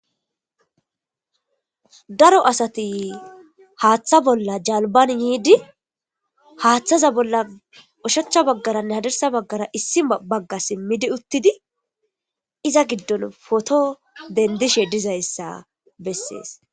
daro asati haaththa bolla jalban yiidi haaththaza bolla ushachcha baggaranne hadarsa baggara issi bagga simmidi uttidi iza giddon poto dendishe dizayssa bessees